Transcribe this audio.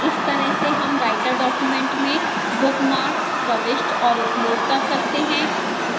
इस तरह से हम writer document में bookmarks प्रविष्ट और उपयोग कर सकते हैं